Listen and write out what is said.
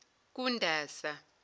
kundasa